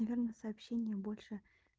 данное сообщение больше